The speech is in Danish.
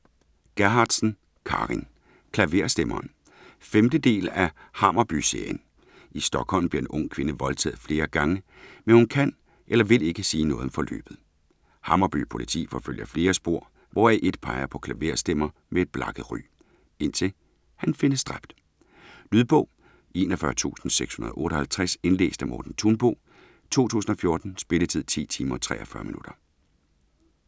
Gerhardsen, Carin: Klaverstemmeren 5. del af Hammarby-serien. I Stockholm bliver en ung kvinde voldtaget flere gange, men hun kan eller vil ikke sige noget om forløbet. Hammarby Politi forfølger flere spor, hvoraf et peger på en klaverstemmer med et blakket ry - indtil han findes dræbt. Lydbog 41658 Indlæst af Morten Thunbo, 2014. Spilletid: 10 timer, 43 minutter.